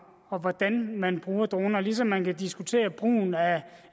og hvordan man bruger droner ligesom man kan diskutere brugen af